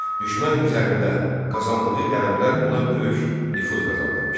Düşmən üzərində qazandığı qələbələr ona böyük nüfuz qazandırmışdı.